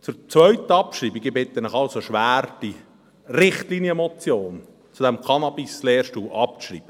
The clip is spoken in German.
Zur zweiten Abschreibung: Ich bitte Sie also schwer, die Richtlinienmotion zu diesem Cannabislehrstuhl abzuschreiben.